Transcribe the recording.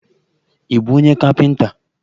Ị bụ onye kapịnta?